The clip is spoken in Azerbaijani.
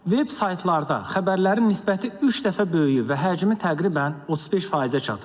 Veb saytlarda xəbərlərin nisbəti üç dəfə böyüyüb və həcmi təqribən 35%-ə çatıb.